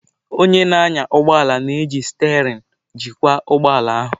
Onye na-anya ụgbọ ala na-eji sterein jikwa ụgbọ ala ahụ.